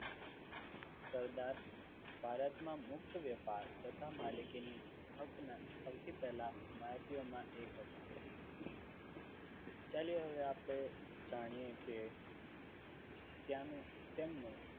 સરદાર ભારતમાં મુક્ત વ્યાપાર તથા માલિકીની હકના સૌથી પહેલા હિમાયતીઓમાં એક હતા. ચાલીએ હવે આપણે જાણીએ કે ત્યાંનું તેમનું